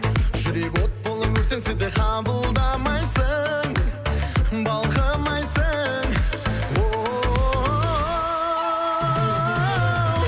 жүрек от болып өртенсе де қабылдамайсың балқымайсың оу